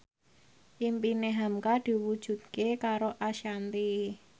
impine hamka diwujudke karo Ashanti